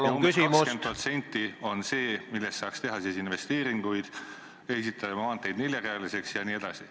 ... ja umbes 20% on see, mille varal saaks teha investeeringuid, ehitada maanteid neljarealiseks jne.